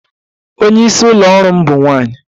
Onye isi ụlọ ọrụ m bụ nwanyị